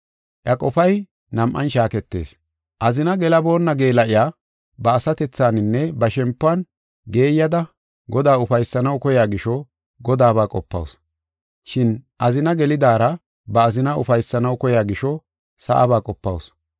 Iya qofay nam7an shaaketees. Azina gelaboonna geela7iya ba asatethaninne ba shempuwan geeyada Godaa ufaysanaw koya gisho, Godaaba qopawusu. Shin azina gelidaara ba azina ufaysanaw koya gisho, sa7aba qopawusu.